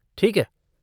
ठीक है।